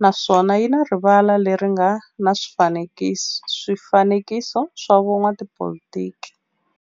naswona yi na rivala le ri nga na swifanekiso swa vo n'watipolitiki.